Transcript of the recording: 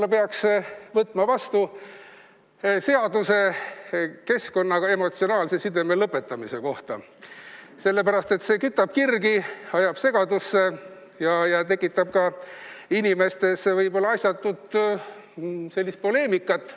Ehk peaks võtma vastu seaduse keskkonnaga emotsionaalse sideme lõpetamise kohta, sellepärast et see kütab kirgi, ajab segadusse ja tekitab inimeste seas võib-olla asjatut poleemikat.